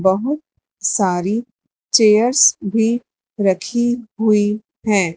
बहुत सारी चेयर्स भी रखी हुई है।